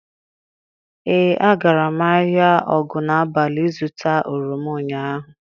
Ee, agara m ahịa Ogunabali ịzụta oroma ụnyaahụ.